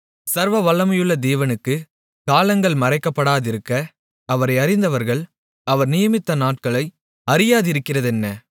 சர்வவல்லமையுள்ள தேவனுக்குக் காலங்கள் மறைக்கப்படாதிருக்க அவரை அறிந்தவர்கள் அவர் நியமித்த நாட்களை அறியாதிருக்கிறதென்ன